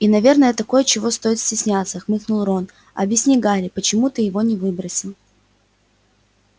и наверное такое чего стоит стесняться хмыкнул рон объясни гарри почему ты его не выбросил